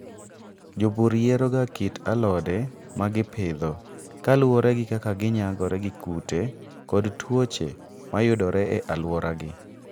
Jopur yieroga kit alode ma gipidho ka luwore gi kaka ginyagore gi kute kod tuoche ma yudore e alworagi.